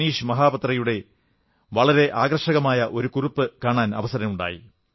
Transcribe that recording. മനീഷ് മഹാപാത്രയുടെ വളരെ ആകർഷകമായ ഒരു കുറിപ്പ് കാണാൻ കിട്ടി